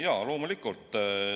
Jaa, loomulikult!